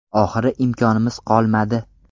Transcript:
Oxiri imkonimiz qolmadi.